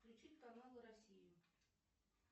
включить канал россия